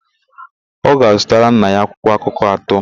Ọ ga-azụtara nna ya akwụkwọakụkọ atọ.